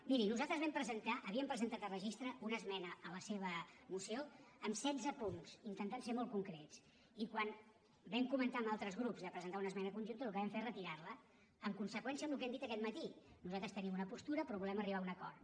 miri nosaltres vam presentar havíem presentat a registre una esmena a la seva moció amb setze punts intentant ser molt concrets i quan vam comentar amb altres grups de presentar una esmena conjunta el que vam fer és retirarla en conseqüència amb el que hem dit aquest matí nosaltres tenim una postura però volem arribar a un acord